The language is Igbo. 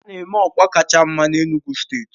A na-eme ọkpa kacha mma na Enugu steeti